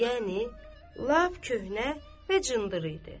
Yəni lap köhnə və cındır idi.